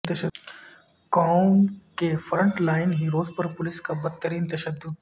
قوم کے front line heroes پر پولیس کا بدترین تشدد